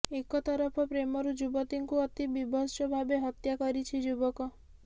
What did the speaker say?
ଏକ ତରଫ ପ୍ରେମରୁ ଯୁବତୀଙ୍କୁ ଅତି ବିଭତ୍ସଭାବେ ହତ୍ୟା କରିଛି ଯୁବକ